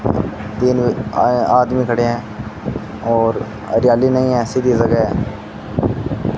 तीन आदमी खड़े हैं और हरियाली नहीं ऐसी की जगह है।